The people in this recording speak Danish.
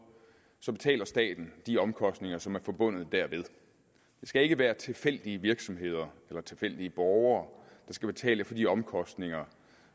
betaler staten de omkostninger som er forbundet derved det skal ikke være tilfældige virksomheder eller tilfældige borgere der skal betale de omkostninger